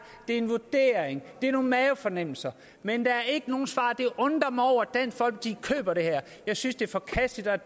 en vurdering det er nogle mavefornemmelser men der er ikke nogen svar jeg undrer mig over at dansk folkeparti køber det her jeg synes det er forkasteligt og